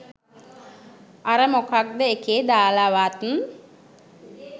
අර මොකක්ද එකේ දාලවත්